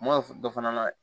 N m'o dɔ fana layɛ